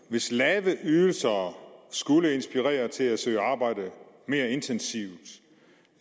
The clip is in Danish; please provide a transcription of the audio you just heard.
hvis lave ydelser skulle inspirere til at søge arbejde mere intensivt